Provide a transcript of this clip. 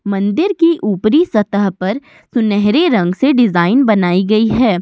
मंदिर की ऊपरी सतह पर सुनहरे रंग से डिजाइन बनाई गई है।